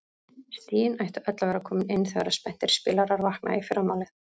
Stigin ættu öll að vera komin inn þegar spenntir spilarar vakna í fyrramálið.